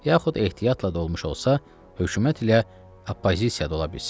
yaxud ehtiyatla da olmuş olsa, hökumət ilə oppozisiya da ola bilsin.